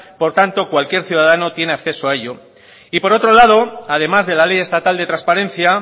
por tanto cualquier ciudadano tiene acceso a ello y por otro lado además de la ley estatal de transparencia